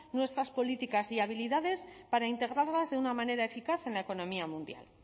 nuestras políticas y habilidades para integrarlas de una manera eficaz en la economía mundial